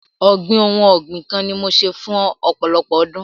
Ọ̀gbìn ohun ọ̀gbìn kan ni mo ṣe fún ọ̀pọ̀lọpọ̀ ọdún.